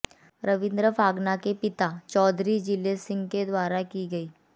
रविन्द्र फागना के पिता चौधरी जिले सिंह के द्वारा की गई